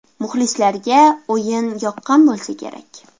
Muxlislarga o‘yin yoqqan bo‘lsa kerak.